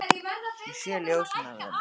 Ég sé bara ljósin af þeim.